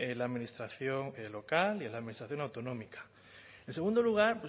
la administración local y en la administración autonómica en segundo lugar